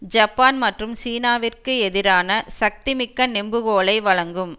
Japan மற்றும் சீனாவிற்கு எதிரான சக்திமிக்க நெம்புகோலை வழங்கும்